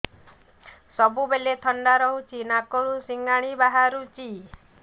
ସବୁବେଳେ ଥଣ୍ଡା ରହୁଛି ନାକରୁ ସିଙ୍ଗାଣି ବାହାରୁଚି